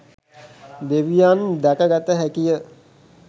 දෙවියන් දැක ගත හැකිය